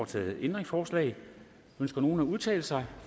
stillet ændringsforslag ønsker nogen at udtale sig